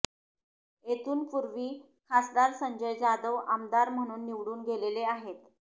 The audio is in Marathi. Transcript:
येथून पूर्वी खासदार संजय जाधव आमदार म्हणून निवडून गेलेले आहेत